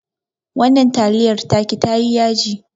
Wannan taliyar taki tayi yaji